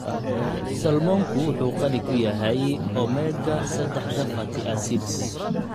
Salmonku wuxuu qani ku yahay omega-sadax fatty acids.